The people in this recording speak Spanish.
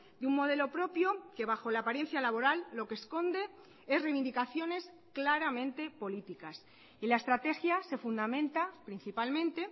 de un modelo propio que bajo la apariencia laboral lo que esconde es reivindicaciones claramente políticas y la estrategia se fundamenta principalmente